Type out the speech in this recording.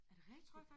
Er det rigtigt?